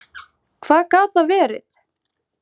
Hvað gat það verið?